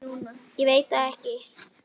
Símtal sem skiptir máli